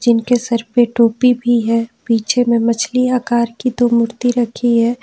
इनके सर पे टोपी भी है पीछे में मछली आकार की दो मूर्ति रखी है।